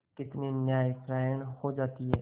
कितनी न्यायपरायण हो जाती है